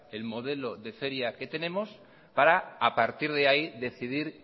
el modelo de feria que tenemos para a partir de ahí decidir